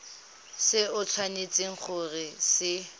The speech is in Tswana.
se o tshwanetseng go se